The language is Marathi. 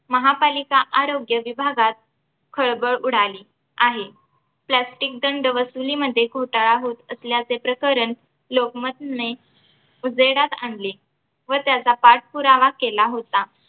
महापालिका आरोग्य विभागात खळबळ उडाली आहे plastic दंड वसुलीमध्ये घोटाळा होत असल्याचे प्रकरण लोकमतने उजेडास आणले व त्याचा पाठपुरावा केला होता